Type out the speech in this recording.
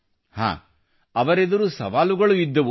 ಹಾಂ ಅವರೆದುರು ಸವಾಲುಗಳು ಇದ್ದವು